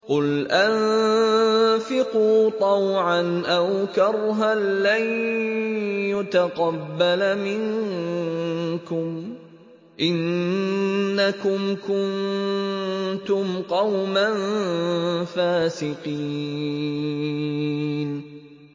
قُلْ أَنفِقُوا طَوْعًا أَوْ كَرْهًا لَّن يُتَقَبَّلَ مِنكُمْ ۖ إِنَّكُمْ كُنتُمْ قَوْمًا فَاسِقِينَ